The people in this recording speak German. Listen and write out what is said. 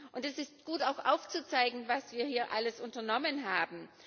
Und es ist auch gut, aufzuzeigen, was wir hier alles unternommen haben.